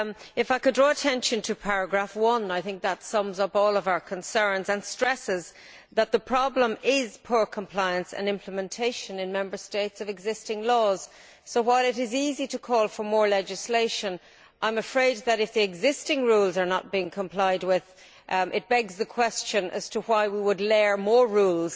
If I could draw attention to paragraph 1, I think this sums up all our concerns and stresses that the problem is poor compliance and implementation of existing laws in the Member States. So while it is easy to call for more legislation, I am afraid that if existing rules are not being complied with, it begs the question as to why we would lay down more rules